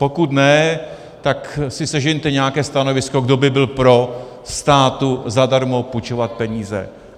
Pokud ne, tak si sežeňte nějaké stanovisko, kdo by byl pro státu zadarmo půjčovat peníze.